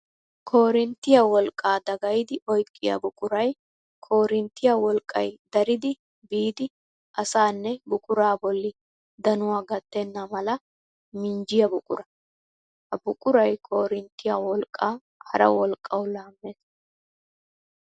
Koorinttiya wolqqa dagayddi oyqqiya buquray koorinttiya wolqqay dariddi biidi asaanne buqura bolli danuwa gattenna mala minjjiya buqura. Ha buquray koorinttiya wolqqa hara wolqqawu laames.